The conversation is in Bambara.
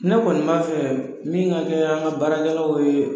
Ne kɔni ma fɛ min ka kɛ an ka baakɛlaw ye